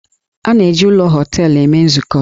A na-eji ụlọ họteelụ eme nzukọ.